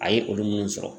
A ye olu minnu sɔrɔ